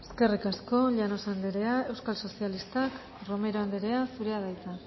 eskerrik asko llanos andrea euskal sozialistak romero andrea zurea da hitza